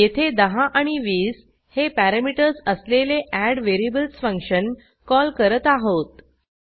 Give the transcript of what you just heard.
येथे 10 आणि 20 हे पॅरॅमीटर्स असलेले एडव्हेरिएबल्स फंक्शन कॉल करत आहोत